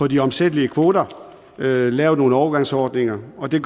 de omsættelige kvoter lavet lavet nogle overgangsordninger og det